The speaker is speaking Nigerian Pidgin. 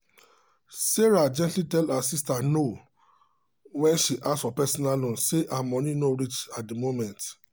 sarah gently tell her sister no when she ask for personal loan say her money no reach at the moment.